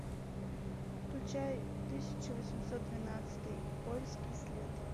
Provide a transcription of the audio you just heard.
включай тысяча восемьсот двенадцатый польский след